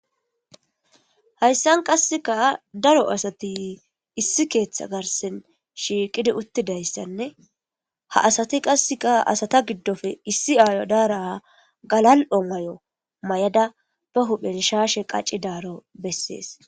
Hayissanni qasekka daro asati issi keththa garissanni shiqidd uttidayissanne haa asati qasekka asata giddoppe issi ayo dara galali''o mayo mayada bee huphphenni shashshe qaacidaro besses.